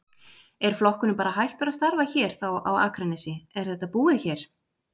Er flokkurinn bara hættur að starfa hér þá á Akranesi, er þetta búið hér?